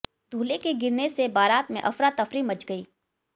दूल्हे के गिरने से बरात में अफरातफरी मच गई